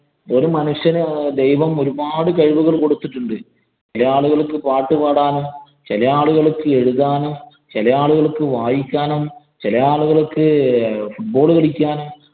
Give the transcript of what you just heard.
ഒരു മനുഷ്യന് ദൈവം ഒരുപാട് കഴിവുകള്‍ കൊടുത്തിട്ടുണ്ട്. ചെല ആളുകള്‍ക്ക് പാട്ടുപാടാനും, ചെല ആളുകള്‍ക്ക് എഴുതാനും, ചെല ആളുകള്‍ക്ക് വായിക്കാനും, ചെല ആളുകള്‍ക്ക് football കളിക്കാനും